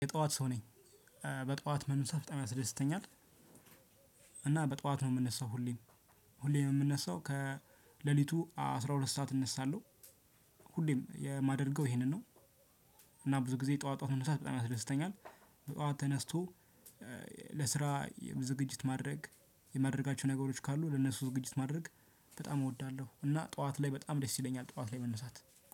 የጠዋት ሰው ነኝ። በጠዋት መነሳት በጣም ያስደስተኛል። እና በጠዋት ነው የምነሳው ሁሌም ሁሌም የምነሳው ከሌሊቱ አስራ ሁለት ሰዓት እነሳለሁ። ሁሌም የማደርገው ይሄንን ነው። እና ብዙ ጊዜ ጠዋት ጠዋት መነሳት በጣም ያስደስተኛል። በጠዋት ተነስቶ። ለስራ ዝግጅት ማድረግ የማድረጋቸው ነገሮች ካሉ ለነሱ ዝግጅት ማድረግ በጣም እወዳለሁ። እና ጠዋት ላይ በጣም ደስ ይለኛል ጠዋት ላይ መነሳት።